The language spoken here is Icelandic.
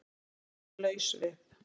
Að vera laus við